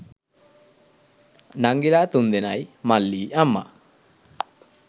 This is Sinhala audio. නංගිලා තුන්දෙනයි මල්ලියි අම්මා